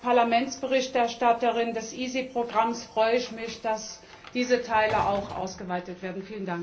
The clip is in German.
Als Parlamentsberichterstatterin des EaSI Programms freue ich mich, dass diese Teile auch ausgeweitet werden.